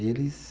Eles.